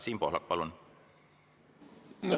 Siim Pohlak, palun!